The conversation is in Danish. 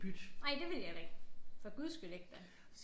Nej det vil jeg da ikke for Guds skyld ikke da